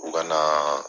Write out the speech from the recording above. U ka na